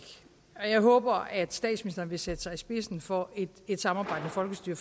og jeg håber at statsministeren vil sætte sig i spidsen for et samarbejdende folkestyre